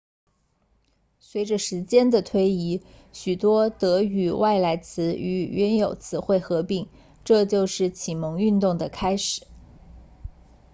随着时间的推移许多德语外来词与原有词汇合并这就是启蒙运动的开始